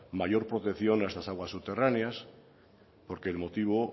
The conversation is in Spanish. mayor protección a estas aguas subterráneas porque el motivo